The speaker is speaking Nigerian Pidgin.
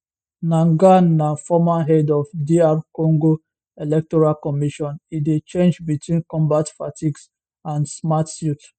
nangaa na former head of dr congo electoral commission e dey change between combat fatigues and smart suits